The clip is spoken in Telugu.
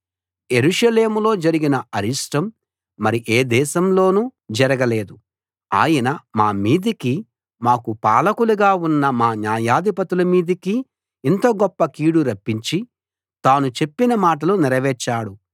యెరూషలేములో జరిగిన అరిష్టం మరి ఏ దేశంలోనూ జరగలేదు ఆయన మా మీదికి మాకు పాలకులుగా ఉన్న మా న్యాయాధిపతుల మీదికి ఇంత గొప్ప కీడు రప్పించి తాను చెప్పిన మాటలు నెరవేర్చాడు